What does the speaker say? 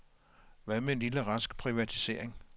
Hvad med en lille rask privatisering?